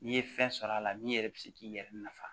N'i ye fɛn sɔrɔ a la min yɛrɛ bɛ se k'i yɛrɛ nafa